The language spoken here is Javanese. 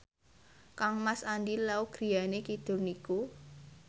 kangmas Andy Lau griyane kidul niku